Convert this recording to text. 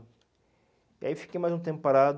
E aí fiquei mais um tempo parado.